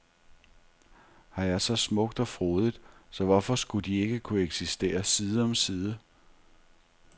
Her er så smukt og frodigt, så hvorfor skulle de ikke kunne eksistere side om side.